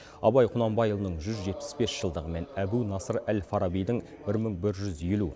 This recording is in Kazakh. абай құнанбайұлының жүз жетпіс бес жылдығы мен әбу насыр әл фарабидің бір мың бір жүз елу